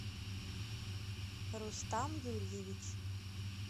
рустам юрьевич